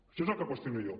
això és el que qüestiono jo